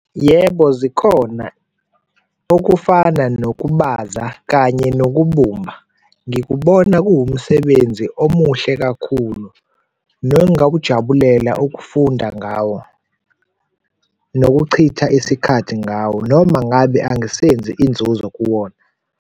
Yebo, zikhona okufana nokubaza kanye nokubumba. Ngikubona kuwumsebenzi omuhle kakhulu nongakujabulela okufunda ngawo, nokuchitha isikhathi ngawo noma ngabe angisenzi inzuzo kuwona.